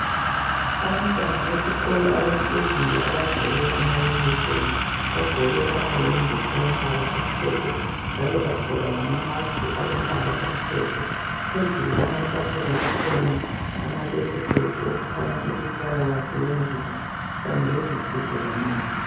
Abantwana besikolo abahleziyo abagqoke amayunifomu. Bagqoke amayembe amhlophe nnalo bagqoka lamamask alombala omhlophe. Phezulu kwamatafula kukhona amalephuthophu okukhanya ukuthi bawasebenzise kanye lezigubhu zamanzi.